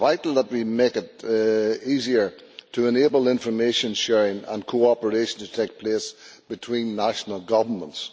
It is vital that we make it easier to enable information sharing and cooperation to take place between national governments.